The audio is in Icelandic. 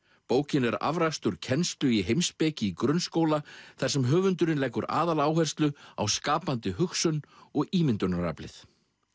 bókin er afrakstur kennslu í heimspeki í grunnskóla þar sem höfundur leggur aðaláherslu á skapandi hugsun og ímyndunaraflið